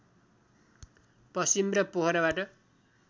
पश्चिम र पोखराबाट